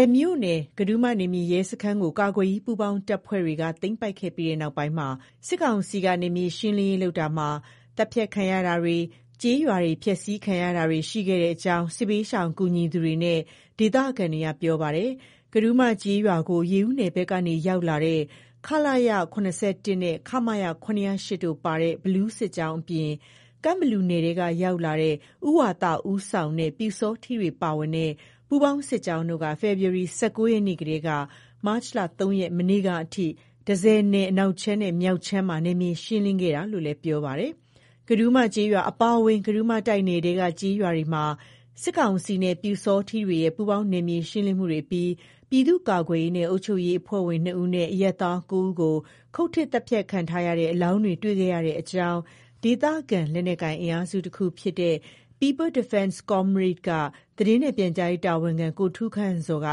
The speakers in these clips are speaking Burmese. ည်မြို့နယ် ကံထူးမနယ်မြေရဲစခန်းကို ကာကွယ်ရေး ပူးပေါင်းတပ်ဖွဲ့တွေက သိမ်းပိုက်ခဲ့ပြီးတဲ့ နောက်ပိုင်းမှာ စစ်ကောင်စီက နယ်မြေရှင်းလင်းရေး လုပ်ခဲ့ရာမှာ သတ်ဖြတ်ခံရမှုတွေ၊ ကျေးရွာတွေ ဖျက်ဆီးခံရမှုတွေ ရှိခဲ့ကြောင်း စစ်ဘေးရှောင်ကူညီသူတွေနဲ့ ဒေသခံတွေက ပြောပါတယ်။ ကံထူးမကျေးရွာကို ရေဦးနယ်ဘက်ကနေ ရောက်လာတဲ့ ခလရ ၇၁နဲ့ ခမရ ၇၀၈ တို့ပါတဲ့ ဘီလူးစစ်ကြောင်းအပြင် ကန့်ဘလူနယ်က ရောက်လာတဲ့ ဦးဝါသ ဦးဆောင်တဲ့ ပျူစောထီးတွေပါတဲ့ ပူးပေါင်းစစ်ကြောင်းတို့က ဖေဖော်ဝါရီ ၁၉ ရက်နေ့ကတည်းကနေ မတ်လ ၃ ရက် မနေ့ကအထိ တန့်ဆည်နယ် အနောက်ခြမ်းနဲ့ မြောက်ခြမ်းမှာ နယ်မြေရှင်းလင်းခဲ့တာလို့လည်း ပြောပါတယ်။ ကံထူးမကျေးရွာအပါအဝင် ကံထူးမတိုက်နယ်ထဲက ကျေးရွာတွေမှာ စစ်ကောင်စီနဲ့ ပျုစောထီးတွေရဲ့ ပူးပေါင်း နယ်မြေရှင်းလင်းမှုတွေအပြီး ပြည်သူ့ကာကွယ်ရေးနဲ့ အုပ်ချူပ်ရေး အဖွဲ့ဝင် ၂ ဦးနဲ့ အရပ်သား ၉ ဦးကို ခုတ်ထစ်သတ်ဖြတ်ခံထားရတဲ့ အလောင်းတွေကို တွေ့ခဲ့ရကြောင်း ဒေသခံ လက်နက်ကိုင်အင်အားစု တခုဖြစ်တဲ့ People Defense Comrade က သတင်းနဲ့ ပြန်ကြားရေး တာဝန်ခံ ကိုထူးခန့်ဇော်က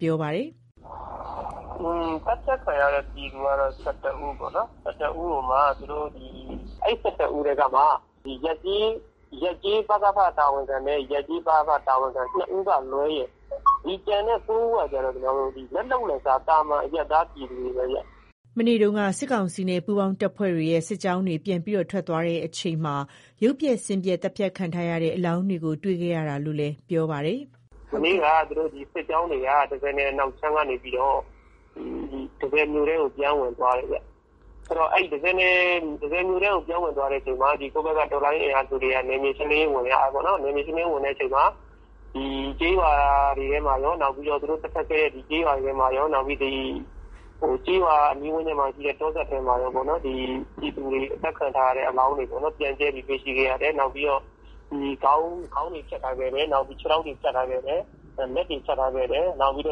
ပြောပါတယ်။ “သတ်ဖြတ်ခံရတဲ့ သူက ၁၁ ဦးပေါ့၊ ၁၁ကိုမှ အဲ့ ၁၁ ဦးထဲကမှ ရပ်ကျေး ပကဖတာဝန်ခံနဲ့ ရပ်ကျေး ပအဖတာဝန်ခံ ၂ ဦးကလွဲရင် ကျန်တဲ့ ၉ ဦးက လက်လုပ်လက်စား သာမန် အရပ်သား ပြည်သူတွေပဲဗျ။” မနေ့တုန်းက စစ်ကောင်စီနဲ့ ပူးပေါင်းအဖွဲ့တွေရဲ့ စစ်ကြောင်းတွေ ပြန်ထွက်ခွာသွားချိန်မှာ ရုပ်ပျက်ဆင်းပျက် သတ်ဖြတ်ခံထားရတဲ့ အလောင်းတွေကို တွေ့ခဲ့ရတာလို့လည်း ပြောပါတယ်။ “မနေ့က စစ်ကြောင်းတွေက တန့်ဆည်နယ် အနောက်ခြမ်းက နေပြီးတော့ တန့်ဆည်မြို့ထဲကို ပြန်ဝင်သွားတယ်ဗျ၊ မြို့ထဲကို ပြန်ဝင်သွားတဲ့အခါမှာ ကိုယ့်ဘက်က အင်အားစုတွေက နယ်မြေရှင်းလင်းရေး ဝင်ကြတာပေါ့၊ ဝင်တဲ့အချိန်မှာ သူတို့တပ်စွဲခဲ့တဲ့ ကျေးရွာတွေထဲမှာရော၊ နောက် ကျေးရွာ အနီးဝန်းကျင်မှာရှိတဲ့ တောစပ်ထဲမှာရောပေါ့နော်၊ ပြည်သူတွေ သတ်ခံထားရတဲ့ အလောင်းတွေ ပြန့်ကျဲပြီးတော့ တွေ့ရှိခဲ့ရတယ်။ ခေါင်းတွေဖြတ်ထားခဲ့တယ်၊ လက်တွေ ဖြတ်ထားခဲ့တယ်၊ ခြေထောက်တွေ ဖြတ်ထားခဲ့တယ် နောက် ကိုယ်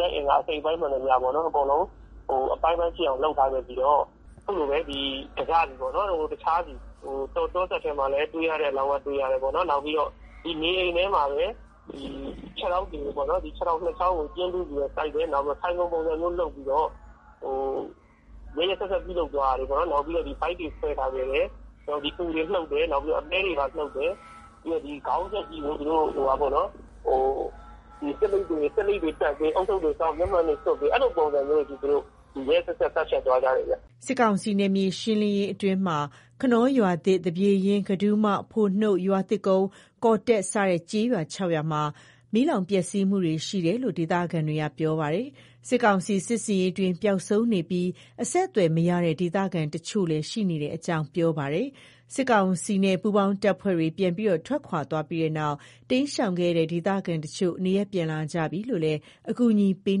လက်အင်္ဂါမှန်သမျှအားလုံး အပိုင်းပိုင်းဖြစ်အောင်ဖြတ်ထားခဲ့ပြီးတော့ တစစီပေါ့နော် တောစပ်ထဲမှာလည်း တွေ့ရတဲ့ အလောင်းက တွေ့ရတယ်ပေါ့နော်၊ နေအိမ်ထဲမှာလည်း ခြေထောက်နှစ်ချောင်းကို ကျင်းတူးပြီးတော့ စိုက်တယ် နောက် ထိုင်ခုံပုံစံမျိုး လုပ်ပြီးတော့ ရက်ရက်စက်စက်လုပ်သွားတာပေါ့၊ နောက်ပြိးတော့ ဗိုက်တွေခွဲထားခဲ့တယ်၊ နောက်ပြိးသူတို့ အူတွေနှုတ်တယ်၊ အသဲတွေ နှုတ်ထားခဲ့တယ်၊ နောက်ပြီးတော့ ခေါင်းပြတ်ကြီးကို ဆေးလိပ်တွေတပ်၊ မျက်မှန်တွေတပ်၊ ဦးထုပ်တွေဆောင်းပေး အဲ့လိုမျိုးတွေ လုပ်ပြီးတော့ သူတို့တွေ ရက်ရက်စက်စက် သတ်သွားတာဗျ။” စစ်ကောင်စီ နယ်မြေရှင်းလင်းရေး အတွင်း ခနောရွာသစ်၊ သပြေရင်း၊ ကံထူးမ၊ ဖိုနှုတ်၊ ရွာသစ်ကုန်း၊ ကော်တက် စတဲ့ ကျေးရွာ ၆ ရွာမှာ မီးလောင်ပျက်စီးမှုတွေ ရှိခဲ့တယ်လို့လည်း ဒေသခံတွေက ပြောပါတယ်။ စစ်ကောင်စီ စစ်ဆင်ရေးအတွင်း ပျောက်ဆုံးနေပြီး အဆက်အသွယ်မရတဲ့ ဒေသခံတချို့လည်း ရှိနေကြောင်း ပြောပါတယ်။ စစ်ကောင်စီနဲ့ ပူးပေါင်းတပ်ဖွဲ့တွေ ပြန်လည်ထွက်ခွာသွားပြီးနောက် တိမ်းရှောင်ခဲ့ကြတဲ့ ဒေသခံတချို့ နေရပ် ပြန်လာကြပြီလို့လည်း အကူအညီပေး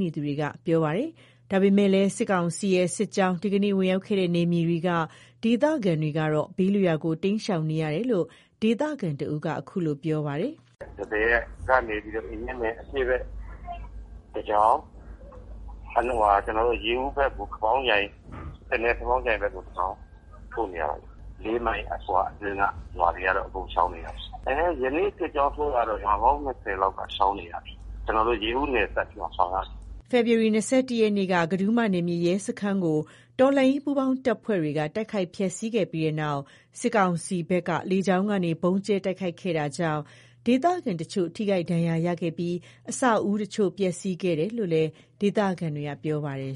နေသူတွေက ပြောပါတယ်။ ဒါပေမဲ့လည်း စစ်ကောင်စီရဲ့ စစ်ကြောင်း ဒီကနေ့ ဝင်ရောက်ခဲ့တဲ့ နယ်မြေတွေက ဒေသခံတွေကတော့ ဘေးလွတ်ရာ တိမ်းရှောင်နေရတယ်လို့လည်း ဒေသခံ တစ်ဦးက ခုလိုပြောပါတယ်။ “တန့်ဆည်ကနေပြီးတော့ အင်ကြင်းမြိုင် အရှေ့ဖက်ကို တစ်ကြောင်း၊ ရေဦးဖက်ကို တနယ်၊ ခပေါင်းကြိုင်ဖက်ကို တစ်ကြောင်း ထိုးနေတာပါ။ သူတို့နဲ့ ၄ မိုင် အကွာလောက်က ရွာတွေအကုန် ရှောင်နေကြရပါတယ်။ ဒီကနေ့ စစ်ကြောင်းထိုးတာက ရွာပေါင်း ၂၀ လောက်ရှောင်နေရတယ်၊ ရေဦးအစပ်ထိကို ရှောင်နေကြရတာ။” ဖေဖော်ဝါရီ ၂၁ ရက်နေ့က ကံထူးမ နယ်မြေရဲစခန်းကို တော်လှန်ရေး ပူးပေါင်းတပ်ဖွဲ့တွေက တိုက်ခိုက်ဖျက်ဆီးခဲ့ပြီးတဲ့နောက် စစ်ကောင်စီဘက်က လေကြောင်းကနေ ဗုံးကြဲတိုက်ခိုက်ခဲ့တာကြောင့် ဒေသခံတချို့ ထိခိုက်ဒဏ်ရာရခဲ့ပြီး အဆောက်အဦတချို့ ပျက်စီးခဲ့တယ်လို့လည်း ဒေသခံတွေက ပြောပါတယ်